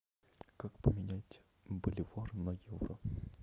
как поменять боливар на евро